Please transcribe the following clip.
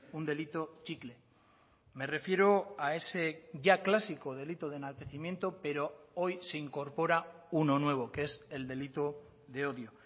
un delito chicle me refiero a ese ya clásico delito de enaltecimiento pero hoy se incorpora uno nuevo que es el delito de odio